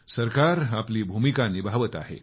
सरकार आपली भूमिका निभावत आहे